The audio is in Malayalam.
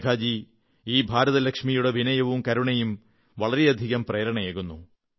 മേഘാജീ ഈ ഭാരതലക്ഷ്മിയുടെ വിനയവും കരുണയും വളരെയധികം പ്രേരണയേകുന്നു